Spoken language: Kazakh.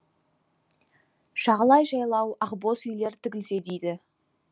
жағалай жайлау ақбоз үйлер тігілсе дейді